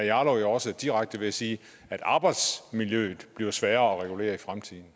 jarlov jo også direkte ved at sige at arbejdsmiljøet bliver sværere at regulere i fremtiden